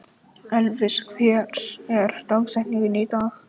Elvis, hver er dagsetningin í dag?